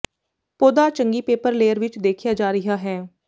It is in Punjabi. ਪੌਦਾ ਚੰਗੀ ਪੇਪਰ ਲੇਅਰ ਵਿੱਚ ਦੇਖਿਆ ਜਾ ਰਿਹਾ ਹੈ